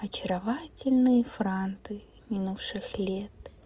очаровательные франты минувших лет